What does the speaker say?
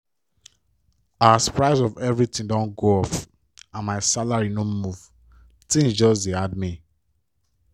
as price of everything don go up and my salary no move tins just dey hard me.